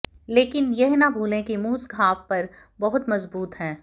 लेकिन यह न भूलें कि मूस घाव पर बहुत मजबूत है